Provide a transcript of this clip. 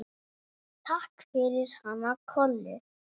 Takk fyrir hana Kollu.